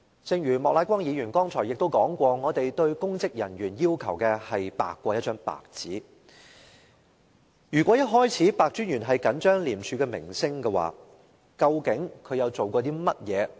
正如莫乃光議員剛才提及，我們要求公職人員要白過一張白紙，如果白專員在開始時已着緊廉署的名聲的話，究竟他做了甚麼工作？